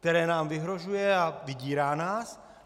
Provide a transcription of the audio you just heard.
Které nám vyhrožuje a vydírá nás?